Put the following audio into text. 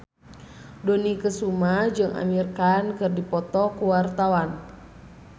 Dony Kesuma jeung Amir Khan keur dipoto ku wartawan